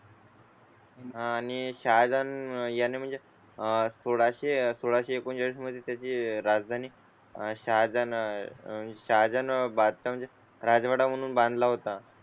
आणि शहाजान याने म्हणजे आह थोड असे. सोळाशे एकोणतीस मध्ये त्याचे राजधानी आहे सहा जण आहेत सहा जण बाधित म्हणजे राजवाडा म्हणून बांधला होता.